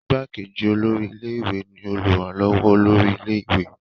Ìgbàkejì olórí ilé ìwé ni olùrànlọ́wọ́ olórí ilé ìwé.